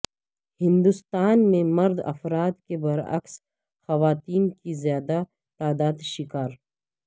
ہندوستان میں مرد افراد کے برعکس خواتین کی زیادہ تعداد شکار